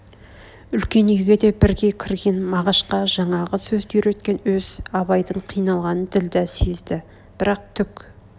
үлкен үйге де бірге кірген мағашға жаңағы сөзді үйреткен өз абайдың қиналғанын ділдә сезді бірақ түк